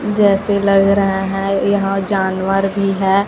जैसे लग रहा है यहां जानवर भी है।